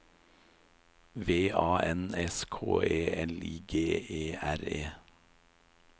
V A N S K E L I G E R E